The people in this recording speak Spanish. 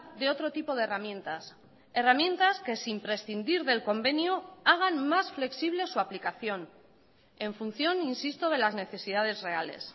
de otro tipo de herramientas herramientas que sin prescindir del convenio hagan más flexible su aplicación en función insisto de las necesidades reales